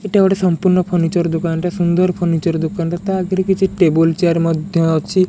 ଏଟା ଗୋଟେ ସଂପୂର୍ଣ୍ଣ ଫର୍ଣିଚର ଦୋକାନଟା ସୁନ୍ଦର ଫର୍ଣିଚର ଦୋକାନଟା। ତା ଆଗରେ କିଛି ଟେବୁଲ ଚେୟାର ମଧ୍ୟ ଅଛି।